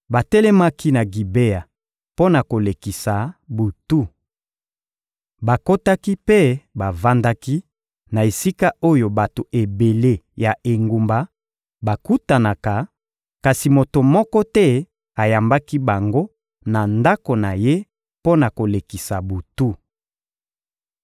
Batelemaki na Gibea mpo na kolekisa butu. Bakotaki mpe bavandaki na esika oyo bato ebele ya engumba bakutanaka, kasi moto moko te ayambaki bango na ndako na ye mpo na kolekisa butu.